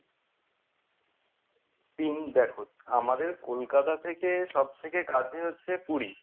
Ping দেখো আমাদের কলকাতা থেকে সবথেকে কাছে হচ্ছে পুরী।